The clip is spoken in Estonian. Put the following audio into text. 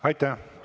Aitäh!